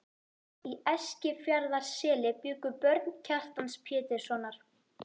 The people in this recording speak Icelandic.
Í Eskifjarðarseli bjuggu börn Kjartans Péturssonar.